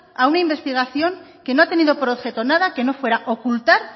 a una investigación que no ha tenido por objeto nada que no fuera ocultar